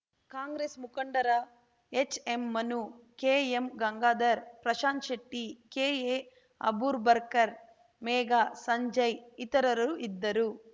ಕಾಂಗ್ರೆಸ್‌ ಮುಖಂಡರ ಎಚ್‌ಎಂಮನು ಕೆಎಂಗಂಗಾಧರ್‌ ಪ್ರಶಾಂತ್‌ಶೆಟ್ಟಿ ಕೆಎಅಬೂರ್ಬರ್ಕರ್‌ ಮೇಘಾ ಸಂಜಯ್‌ ಇತರರು ಇದ್ದರು